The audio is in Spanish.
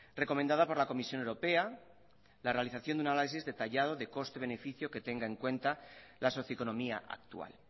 recomendada por la comisión europea la realización de un análisis detallado de coste beneficio que tenga en cuenta la socioeconomía actual